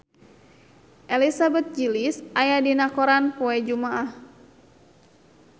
Elizabeth Gillies aya dina koran poe Jumaah